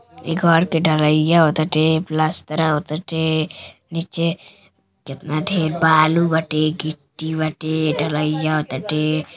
इ घर के ढ़लईया हो ताटे। प्लस्तरा हो ताटे। नीचे केतना ढ़ेर बालू बाटे। गिट्टी बाटे। ढ़लईया हो ताटे।